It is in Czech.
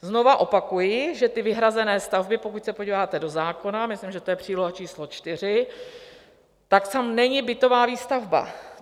Znovu opakuji, že ty vyhrazené stavby, pokud se podíváte do zákona, myslím, že to je příloha číslo 4, tak tam není bytová výstavba.